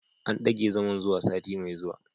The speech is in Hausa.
An dage zaman zuwa sati mai zuwa